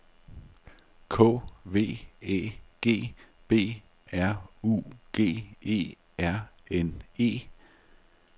K V Æ G B R U G E R N E